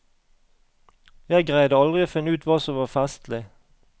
Jeg greide aldri å finne ut hva som var festlig.